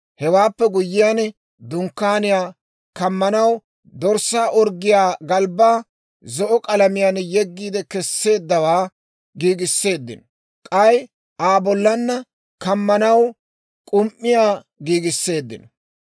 Hewaappe guyyiyaan dunkkaaniyaa kammanaw dorssaa orggiyaa galbbaa zo'o k'alamiyaan yeggi kesseeddawaa giigiseeddino; k'ay Aa bollana kammanaw k'um"iyaa giigiseeddino.